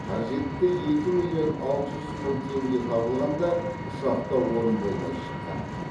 қажетті екі миллион алты жүз мың теңге табылғанда ұшақта орын болмай шыққан